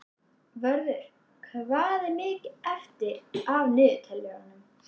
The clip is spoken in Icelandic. Vörður, hvað er mikið eftir af niðurteljaranum?